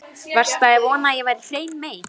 Varstu að vona að ég væri hrein mey?